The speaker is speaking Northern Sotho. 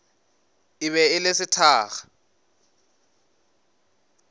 e be e le sethakga